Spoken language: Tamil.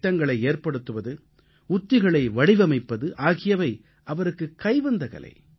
திட்டங்களை ஏற்படுத்துவது உத்திகளை வடிவமைப்பது ஆகியவை அவருக்குக் கைவந்த கலை